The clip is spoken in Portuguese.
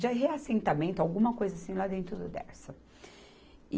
de reassentamento, alguma coisa assim lá dentro do Dersa.